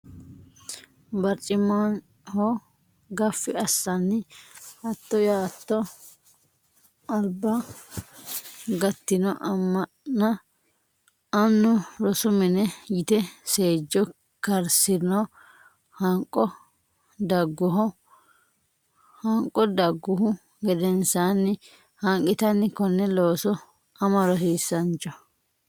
Barcimaho gaffi assanni Hattoo yaatto alba gattino Amanna annu rosu mine yite seejo karisino hanqo dagguhu gedensaanni hanqitanni Konne looso Ama Rosiisaancho !